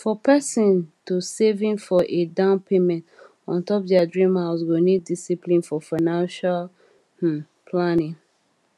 for persin to saving for a down payment on top their dream house go need discipline for financial um planning